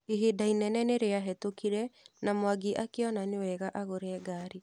Ihinda inene nĩ rĩahetũkire na Mwangi akĩona nĩwega agũre ngari.